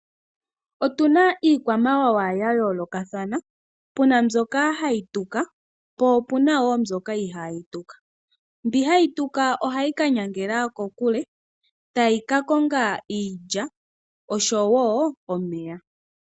Otuna iikwamawawa yayolokathana puna mbyoka hayi tuka po opunawo mbyoka ihayi tuka. Mbi hayi tuka oha yika nyangels kokule tayika konga iikulya oshowo omeya.